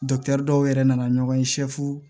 dɔw yɛrɛ nana ɲɔgɔn ye